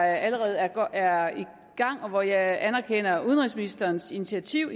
allerede er er i gang og jeg anerkender udenrigsministerens initiativ